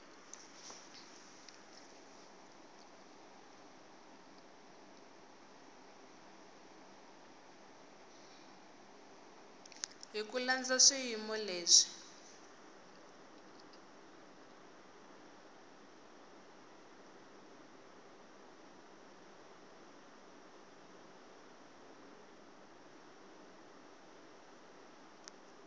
hi ku landza swiyimo leswi